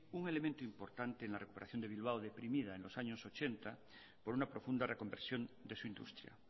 un elemento importante en la recuperación de bilbao deprimida en los años mil novecientos ochenta por una profunda reconversión de su industria